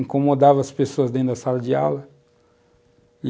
Incomodava as pessoas dentro da sala de aula.